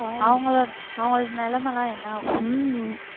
அவங்களோ~ அவங்களோட நிலைமை எல்லாம் என்ன ஆகும்